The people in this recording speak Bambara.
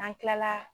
N'an kilala